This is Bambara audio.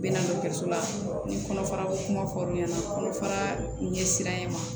Bɛ na dɔgɔtɔrɔso la ni kɔnɔfara ko kuma fɔr'u ɲɛna kɔnɔfara ɲɛ siranɲɛ ma